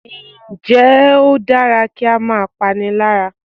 Ǹ jẹ́ o dára kí á máa pániláyà